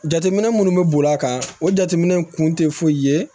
Jateminɛ minnu bɛ boli a kan o jateminɛ in kun tɛ foyi ye